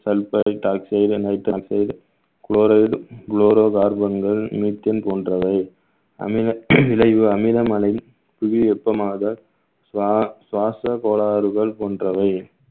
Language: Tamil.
sulphuric oxide oxide, chloride, chloro carbon கள் methane போன்றவை அமில விளைவு அமிலமலை புவி வெப்பமாக சுவா~ சுவாச கோளாறுகள் போன்றவை